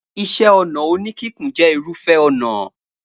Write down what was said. Iṣẹ́-ọnà oníkíkùn jẹ́ irúfẹ́ ọnà.